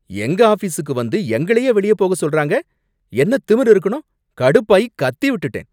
எங்க ஆஃபீசுக்கு வந்து எங்களையே வெளிய போக சொல்றாங்க. என்னத் திமிரு இருக்கணும். கடுப்பாயி கத்தி விட்டுட்டேன்.